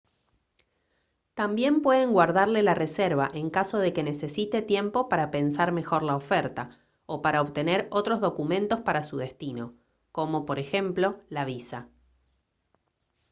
también pueden guardarle la reserva en caso de que necesite tiempo para pensar mejor la oferta o para obtener otros documentos para su destino como por ejemplo la visa